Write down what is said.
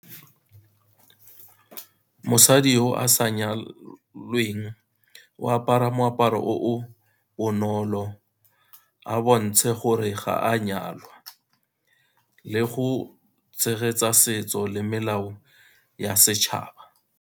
Mosadi o a sa nyalweng o apara moaparo o o bonolo, a bontshe gore ga a nyalwa, le go tshegetsa setso le melao ya setšhaba.